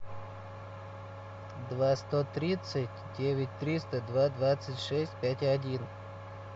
два сто тридцать девять триста два двадцать шесть пять один